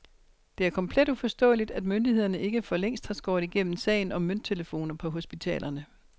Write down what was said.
Det er komplet uforståeligt, at myndighederne ikke for længst har skåret igennem sagen om mønttelefoner på hospitalerne.